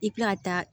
I ti na taa